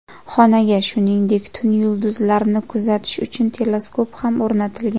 Xonaga, shuningdek, tun yulduzlarni kuzatish uchun teleskop ham o‘rnatilgan.